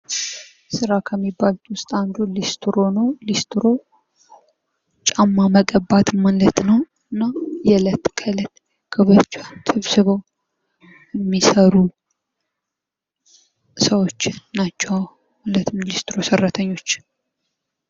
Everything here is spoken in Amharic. ስራ ከሚባሉ ውስጥ አንዱ ሊስትሮ ነው። ሊስትሮ ጫማ መቀባት ማለት ነው እና እለት ከእለት የሚሰሩ ሰወች ናቸው ማለት ነው ሊስትሮ ሰራተኞች።